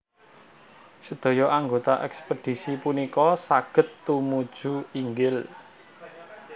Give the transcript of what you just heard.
Sedaya anggota ekspedisi punika saged tumuju inggil